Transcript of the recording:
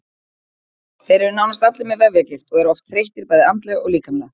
Þeir eru nánast allir með vefjagigt og eru oft þreyttir bæði andlega og líkamlega.